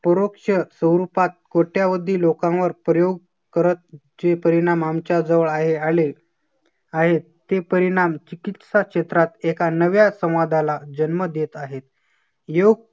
प्रवृक्ष स्वरूपात कोट्यावधी लोकांवर प्रयोग करत चे परिणाम आमच्या जवळ आहे आले. आहेत ते परिणाम चिकित्सा क्षेत्रात एका नव्या संवादाला जन्म देत आहेत. योग